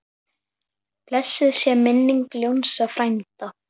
Blessuð sé minning Jónsa frænda.